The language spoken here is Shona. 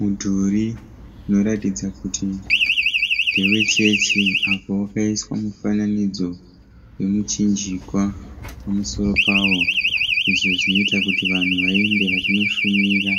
Mudhuri unoratidza kuti ndewe chechi apo wakaiswa mufananidzo womuchinjikwa pamusoro pawo izvo zvinoita kuti vanhu vaende vachinoshumira